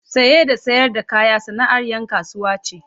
Saye da sayar da kaya sana’ar ‘yan kasuwa ce.